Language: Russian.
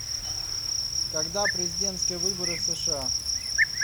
когда президентские выборы в сша